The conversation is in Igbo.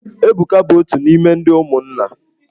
Ebuka bụ otu n'ime ndị ụmụnna.